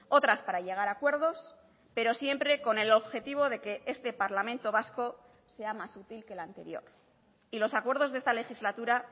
otras para llegar a acuerdos pero siempre con el objetivo de que este parlamento vasco sea más útil que el anterior y los acuerdos de esta legislatura